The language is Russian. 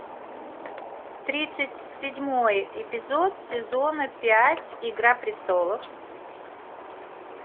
тридцать седьмой эпизод сезона пять игра престолов